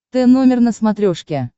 т номер на смотрешке